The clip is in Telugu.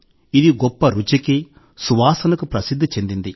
ఇది గొప్ప రుచికి సువాసనకు ప్రసిద్ధి చెందింది